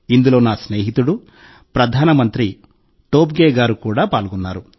ఇందులో నా స్నేహితుడు ప్రధానమంత్రి టోబ్గే గారు కూడా పాల్గొన్నారు